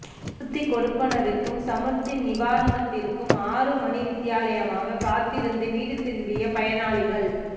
சமுர்தி கொடுப்பணவிற்கும் சமுர்தி நிவாரனத்திற்கும் ஆறு மணித்தியாலமாக காத்திருந்து வீடு திரும்பிய பயனாளிகள்